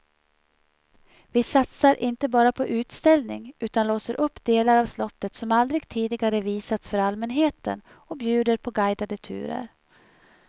Vi satsar inte bara på utställning utan låser upp delar av slottet som aldrig tidigare visats för allmänheten och bjuder på guidade turer.